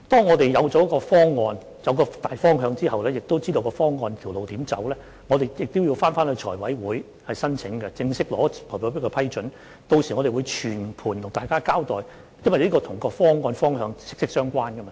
我們在有方案和大方向，以及知道應該如何走這條路之後，我們須向財務委員會提出申請，並正式取得財委會的批准，屆時我們會向大家全盤交代，因為這是與有關的方案和方向息息相關的。